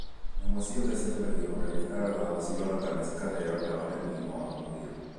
Nyamũ ciothe ciethagirwo dagĩtarĩ wa gũcirora kana cikaheo dawa nĩ ugima wa mwĩrĩ.